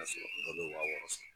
Saba sɔrɔ dɔw bɛ wa wɔɔrɔ sɔrɔ